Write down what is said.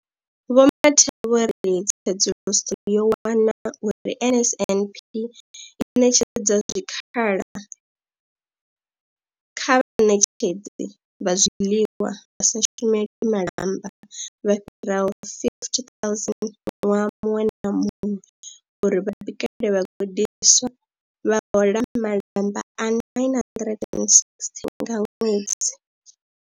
Vho Mathe vho ri, Tsedzuluso yo wana uri NSNP i ṋetshedza zwikhala kha vhaṋetshedzi vha zwiḽiwa vha sa shumeli malamba vha fhiraho 50 000 ṅwaha muṅwe na muṅwe uri vha bikele vhagudiswa, vha hola malamba a R960 nga ṅwedzi.